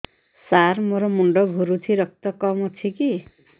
ସାର ମୋର ମୁଣ୍ଡ ଘୁରୁଛି ରକ୍ତ କମ ଅଛି କି